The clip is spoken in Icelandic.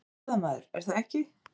Þú ert blaðamaður, er það ekki?